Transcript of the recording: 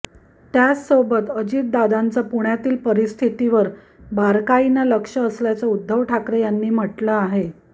त्यासोबतच अजितदादांचं पुण्यातील परिस्थितीवर बारकाईनं लक्ष असल्याचं उद्धव ठाकरे यांनी म्हटलं आहे